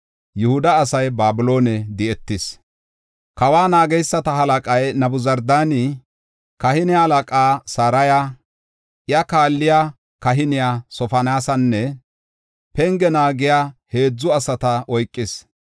Kawa naageysata halaqay Nabuzardaani kahine halaqaa Saraya, iya kaalliya kahiniya Sofoniyaasanne penge naagiya heedzu asata oykis.